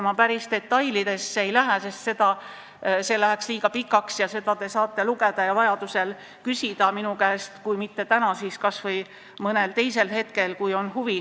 Ma päris detailidesse ei lähe, sest see läheks liiga pikaks ja te saate vajadusel nende kohta küsida minu käest, kui on huvi, ja kui mitte täna, siis kas või mõnel teisel hetkel.